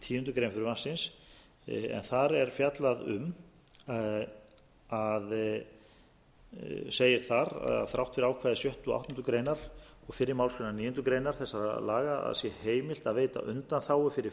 tíundu greinar frumvarpsins en þar er fjallað um segir þar að þrátt fyrir ákvæði sjötta og áttundu greinar og fyrri málsgreinar níundu grein þessara laga að sé heimilt að veita undanþágu fyrir